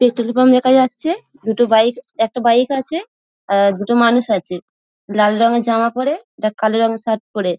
Petrol pump দেখা যাচ্ছে দুটো বাইক একটা বাইক আছে আর দুটো মানুষ আছে | লাল রঙের জামা পরে একটা কালো রঙের শার্ট পরে।